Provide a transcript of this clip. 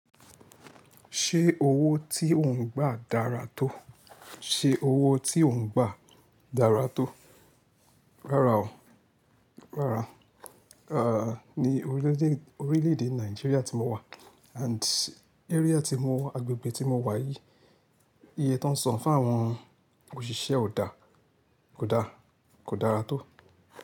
Ṣé owó tí ò ń gbà dára tó? Ṣé owó tí ò ń gbà dára tó? Rárá o, rárá. À, ní orílè-èdè orílè-èdè Nàìjíríà tí mo wà and area tí mo wà, agbègbè tí mo wà yìí, iye tan ń san fún àwọn òṣìṣẹ́ ò dá, kò dá, kò dára tó.